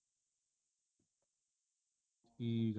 ਠੀਕ ਆ